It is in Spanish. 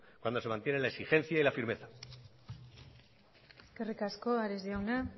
cuando se mantiene la exigencia y la firmeza eskerrik asko ares jauna